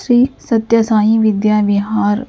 Shri Satya Sai Vidya Vihar.